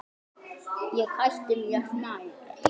Ég hætti mér nær.